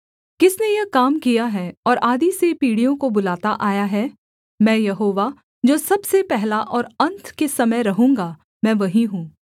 किसने यह काम किया है और आदि से पीढ़ियों को बुलाता आया है मैं यहोवा जो सबसे पहला और अन्त के समय रहूँगा मैं वहीं हूँ